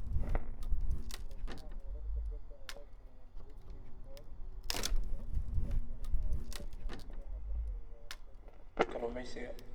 Kor u kaca heerkulka badda ayaa keenaya bleaching coral, kaas oo khatar gelinaya kala duwanaanshaha badda iyo warshadaha kalluumeysiga.